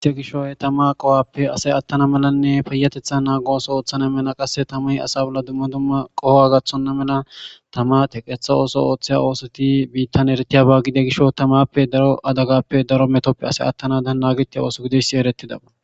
Itte gishoy tama qohoppe asay attana melanne payatethan naago ooso ooththana mena qasse tamay asa bolla dumma dumma qoho gathonna mela tamate qeetha ooso ooththiya oosoti biittan eritiya baggide gisho tamappe daro adagappe daro metoppe ase attanadan naagetiya ooso gidesi eretidaba.